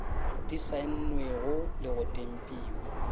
di saennwego le go tempiwa